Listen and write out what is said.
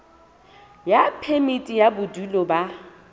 ya phemiti ya bodulo ba